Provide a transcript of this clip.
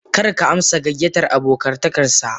Kar ka amsa gayyatar abotakar sa.